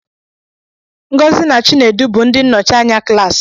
Ngozi na Chinedu bụ ndị nnọchi anya klaasị.